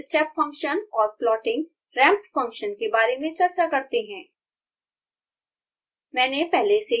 अब plotting step function और plottingramp function के बारे में चर्चा करते हैं